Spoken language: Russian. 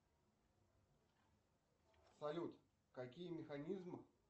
салют какие механизмы